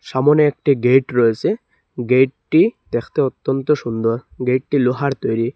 এমন একটি গেট রয়েসে গেটটি দেখতে অত্যন্ত সুন্দর গেটটি লোহার তৈরি।